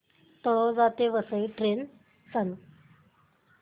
तळोजा ते वसई ट्रेन सांग